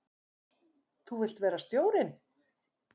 Þú vilt vera stjórinn?